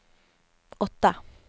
åtta